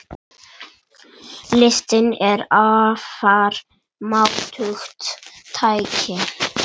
Listin er afar máttugt tæki.